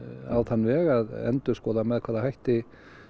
á þann veg að endurskoða með hvaða hætti